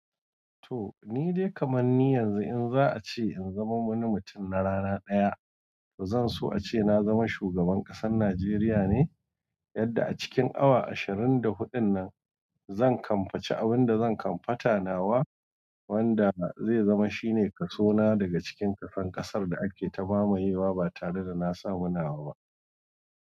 To ni dai kaman ni yanzu in za a ce in zama wani mutum na rana ɗaya, to zan so a ce na zama shugaban ƙasar Najeriya ne, yadda a cikin awa ashirin da huɗun nan zan kamfaci abin da zan kamfata nawa wanda zai zama shine kaso na daga cikin kason ƙasar da ake ta mamayewa ba tare da na samu nawa ba.